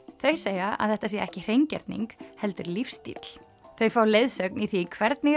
þau segja að þetta sé ekki hreingerning heldur lífsstíll þau fá leiðsögn í því hvernig